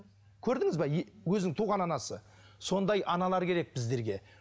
көрдіңіз бе өзінің туған анасы сондай аналар керек біздерге